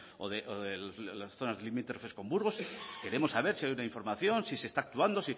o de las zonas limítrofes con burgos queremos saber si hay una información si se está actuando